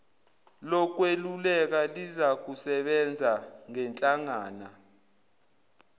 lokweluleka lizakusebenza ngenhlangana